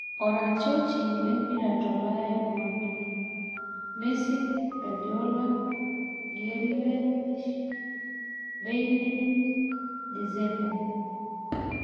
Oratioti lempira tolaya jumapilli: Messi, Guordiola, Grealish, bailly, Dzeko,